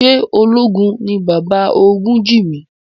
Ṣé ológun ní bàbá Ògúnjìmí?